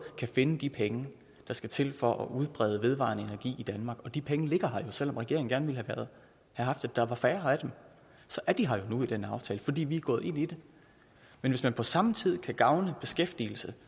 kan finde de penge der skal til for at udbrede vedvarende energi i danmark og de penge ligger her jo selv om regeringen gerne ville have haft at der var færre af dem så er de her nu i den aftale fordi vi er gået ind i det men hvis vi på samme tid kan gavne beskæftigelsen